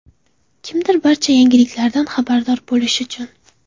Kimdir barcha yangiliklardan xabardor bo‘lish uchun.